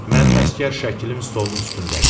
Mənim əsgər şəklim stolun üstündədir.